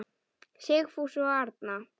Sigfús og Arna.